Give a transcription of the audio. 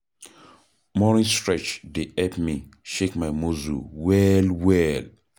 Morning stretch dey help me shake my muscle well well.